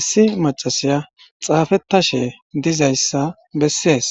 issi macasiya xaafettashe dizayssa bessees